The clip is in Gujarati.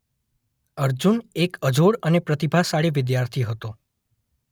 અર્જુન એક અજોડ અને પ્રતિભાશાળી વિદ્યાર્થી હતો.